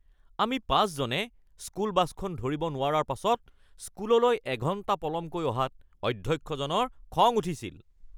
আমি ৫জনে স্কুল বাছখন ধৰিব নোৱাৰাৰ পাছত স্কুললৈ এঘণ্টা পলমকৈ অহাত অধ্যক্ষজনৰ খং উঠিছিল